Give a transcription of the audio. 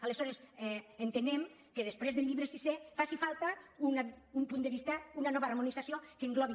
aleshores entenem que després del llibre sisè faci falta una nova harmonització que englobi